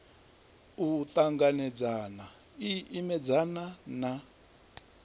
u ṱanganedzana i imedzana na